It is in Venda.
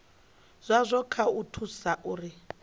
zwazwo kha u thusa uri